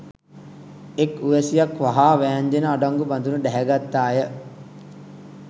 එක් උවැසියක් වහා වෑංජනය අඩංගු බඳුන ඩැහැගත්තාය